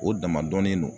O dama dɔnnen non